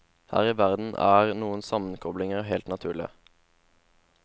Her i verden er noen sammenkoblinger helt naturlige.